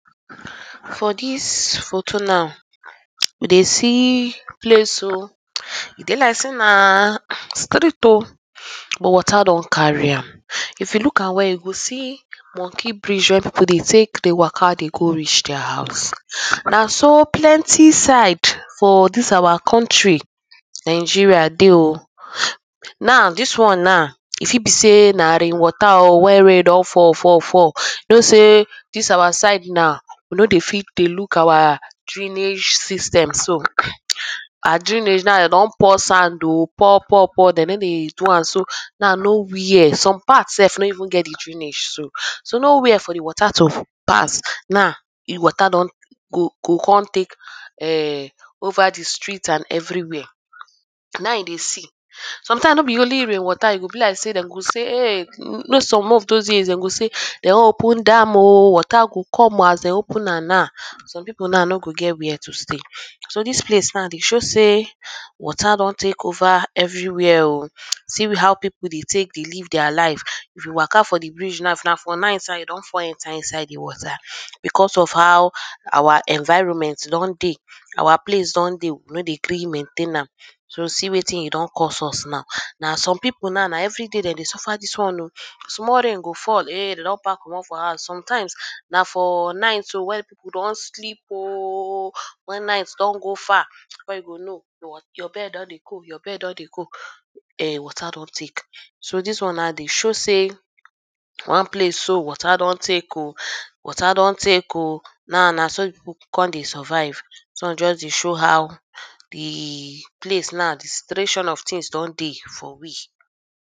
for dis photo now, we dey see place oo, e dey like sey na street oo but water don carry am. If you look am well you go see monkey bridge wey people dey take dey waka dey go reach their house, na so plenty side for dis our country Nigeria dey oo. Now dis one now e fit be sey na rain water oo wey rain don fal, fall, fall, you know sey dis our side now, we no dey fit dey look our drainage system so. Our drainage now dem don pour sand oo, pour, pour, pour dem no dey do am so, now nowhere, some part sef no even get de drainage so, so nowhere for de water to pass. Now, de water don go go come take um over de street and everywhere, now you dey see. Sometimes no be only rain water, e go be like sey dem go sey um, u know some of those years dem go sey dem wan open dam oo water go come as dem open am now, some people now no go get where to stay. So dis place now de show sey water don take over everwhere oo, see how people dey take de live their life, if you waka for de bridge now if na night you don fall enter inside de water because of how our environment don dey, our place don dey, we no dey gree maintain am, so see wetin e don cause us now. Now some people now na everyday dem de suffer dis one oo, cause small rain go fall, um you don pack comot for house, sometimes na for night um wey people don sleep oo when night don go far before you go know, your bed don dey go, your bed don dey go, um water don take. So dis one now dey show sey one place so water don take oo, water don take oo, now na so people come dey survive, dis one just dey show how de place now, de situation of things don dey for we.